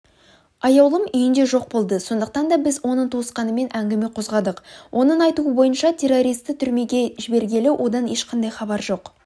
аяулым үйінде жоқ болды сондықтан да біз оның туысқанымен әңгіме қозғадық оның айтуы бойынша террористті түрмеге жібергелі одан ешқандай хабар жоқ